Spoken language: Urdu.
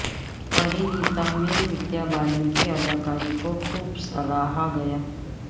پری نیتا میں ودیا بالن کی اداکاری کو خوب سراہا گیا